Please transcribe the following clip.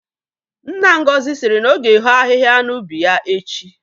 Nna Ngozi siri na ọ ga-eho ahịhịa n'ubi ya echi